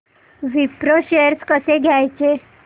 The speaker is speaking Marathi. विप्रो शेअर्स कसे घ्यायचे